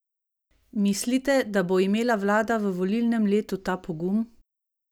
Mislite, da bo imela vlada v volilnem letu ta pogum?